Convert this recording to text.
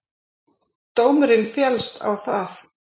Dómurinn féllst á það